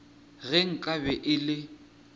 ge nka be e le